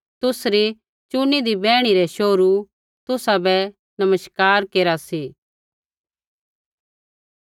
तुसरी चुनीदी बैहणी रै शोहरू तुसाबै नमस्कार केरा सी